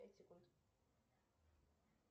пять секунд